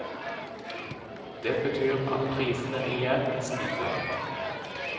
Det betyr at prisene igjen stiger.